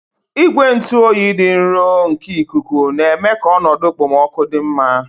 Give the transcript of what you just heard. Igwe ntụ oyi dị nro nke ikuku na-eme ka ọnọdụ okpomọkụ dị mma.